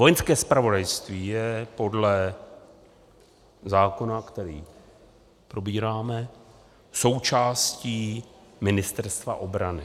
Vojenské zpravodajství je podle zákona, který probíráme, součástí Ministerstva obrany.